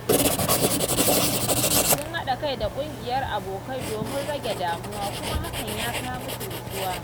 Sun haɗa kai da ƙungiyar abokai domin rage damuwa, kuma hakan ya kawo musu natsuwa.